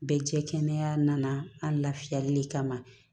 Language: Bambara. Bɛɛ jɛ kɛnɛya nana an lafiyali de kama